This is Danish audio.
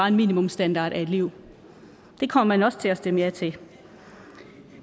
en minimumsstandard at et liv det kommer man også til at stemme ja til